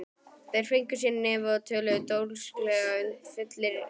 Þeir fengu sér í nefið og töluðu dólgslega, fullir drýldni.